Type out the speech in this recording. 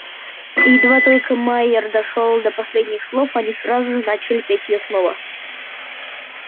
и едва только майер дошёл до последних слов они сразу же начали петь её снова